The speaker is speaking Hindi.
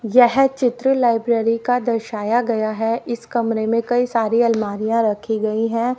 यह चित्र लाइब्रेरी का दर्शाया गया है। इस कमरे में कई सारी अलमारियां रखी गई है।